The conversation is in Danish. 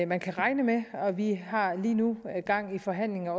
man kan regne med vi har lige nu gang i forhandlinger